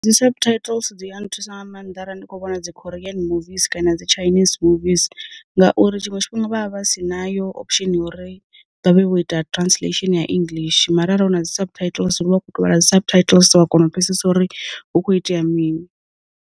Dzi subtitles dzi ya nthusa nga maanḓa arali ndi kho vhona dzi khoriyen muviss kana dzi tshainis muvis, ngauri tshiṅwe tshifhinga vha vha vha si nayo option ya uri vha vhe vho ita translation ya english mara ara huna dzi subtitles ri vha khou tovhala dzi subtitles wa kona u pfesesa uri hu kho itea mini.